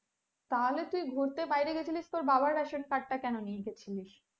তাহলে তুই ঘুরতে বাইরে গিয়েছিলিস তোর বাবার ration card টা কেন নিয়ে গিয়েছিলস,